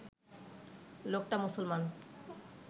লোকটা মুসলমান